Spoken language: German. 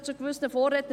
Es ist klar;